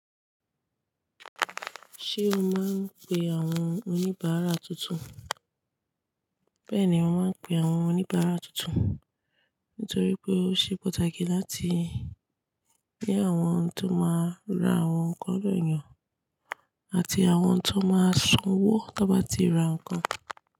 Ṣé o máa ń pe àwọn oníbàárà tuntun? Bẹ́ẹ̀ni, mo máa ń pe àwọn oníbàárà tuntun, nítorí pé ó ṣe pàtàkì láti ní àwọn tó máa ra àwọn nkan lọ́do eyàn, àti àwọn tó máa sanwó tó bá ti ra nǹkan.